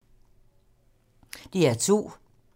DR2